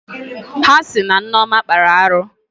Ha sị na Nneọma kpara arụ